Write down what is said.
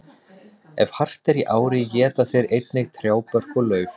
Ef hart er í ári éta þeir einnig trjábörk og lauf.